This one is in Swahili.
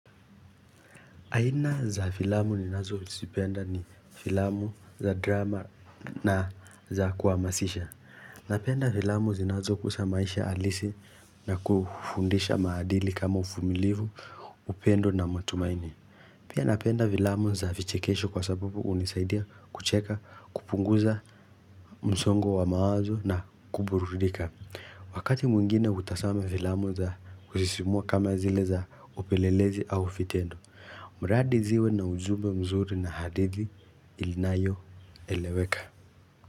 Aina za filamu ninazozipenda ni filamu za drama na za kuhamasisha. Napenda filamu zinazo guza maisha halisi na kufundisha maadili kama uvumilivu, upendo na matumaini. Pia napenda filamu za vichekesho kwa sababu hunisaidia kucheka, kupunguza msongo wa mawazo na kuburudika. Wakati mwingine hutazama filamu za kusisimua kama zile za upelelezi au vitendo. Mradi ziwe na ujube mzuri na hadithi inayo eleweka.